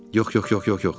Yox, yox, yox, yox, yox.